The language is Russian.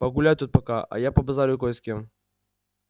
погуляй тут пока а я побазарю кое с кем